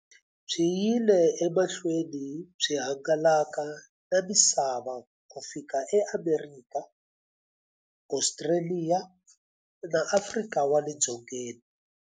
Byi yile emahlweni byi hangalaka na misava ku fika e Amerika, Ostraliya na Afrika wale dzongeni.